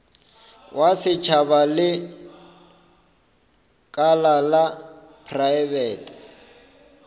wa setšhaba lekala la praebete